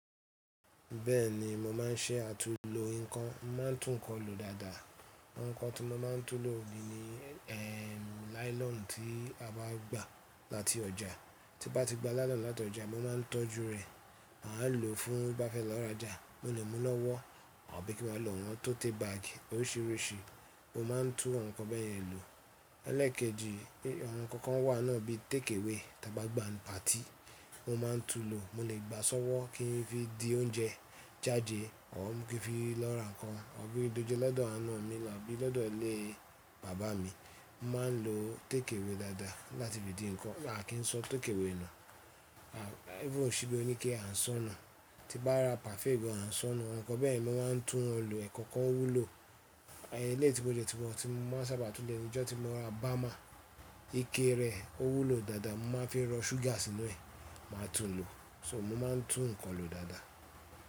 Bẹ́ẹ̀ni mo máa ń ṣẹ́ àtu lo ǹkan, mo ma ń tún ǹkan lo dáadáa. Àwọn ǹkan tí mo máa ń tún lo bí ni ehn nylon tí a bá gbà láti ọjà, tí bá ti gba nylon láti ọjà mo ma ń tọ́jú rẹ̀, màá lòó fún bá fẹ́ lọ rajà, mo lè mú lọ́wọ́ àbí kí n má lọ̀ wọ́n tóte bag oríṣiríṣi, mo ma ń tún àwọn ǹkan bẹ́ẹ̀ yẹn lò. Elékèjì, àwọn ǹkan kan wà náà bí take away tí a bá gbà ní patí mo ma ń tún lo, mo lè gbà á sọ́wọ́ kí n fi dí oúnjẹ jáde àbí kí n fi lọ́ra ǹkan, àbí dojúé lọ́dọ̀ àna mi àbí lọ́dọ̀ ilé bàbá mi, máa ń lo take away dáadáa láti fi dí ǹkan. À kí n sọ take away nù, even ṣíbẹí oníke à ń ṣo nù tí bá ra parfait naa à ń ṣona, àwọn ǹkan bẹ́ẹ̀yẹn mi ma ń tún wọ́n lò. Ẹ̀kọkan o wúlò, eléyï tí mò dẹ tún mọ́ tí mo sábà tún lè lo, ọjọ́ tí mo ra bama ike rẹ̀ ó wúlò dáadáa, màá fi rọ́ ṣúgà sínú ẹ̀, màá tún lòó, so mo ma ń tún ǹkan lo dáadáa.